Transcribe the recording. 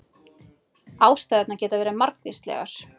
Ástæðurnar geta verið margvíslegar